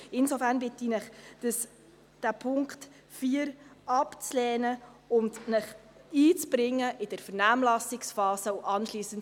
Insofern bitte ich Sie, Punkt 4 abzulehnen und sich in der Vernehmlassungsphase einzubringen.